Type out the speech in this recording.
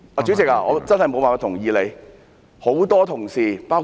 主席，我真的無法同意你的說法。